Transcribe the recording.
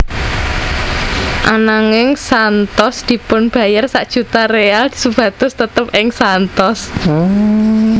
Ananging Santos dipunbayar sak juta real supados tetep ing Santos